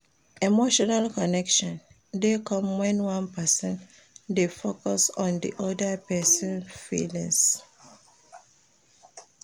Emotional connection de come when one person de focus on di other persin feelings